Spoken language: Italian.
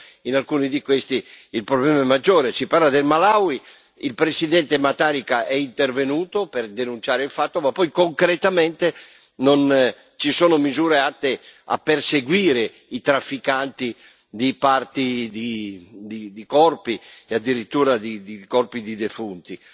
Certo, in alcuni di questi, il problema è maggiore. Si parla del Malawi. Il Presidente Mutharika è intervenuto per denunciare il fatto, anche se poi, concretamente, non ci sono misure atte a perseguire i trafficanti di parti di corpi e addirittura di corpi di defunti.